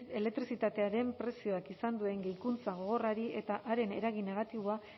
elektrizitatearen prezioak izan duen gehikuntza gogorrari eta haren eragin negatiboa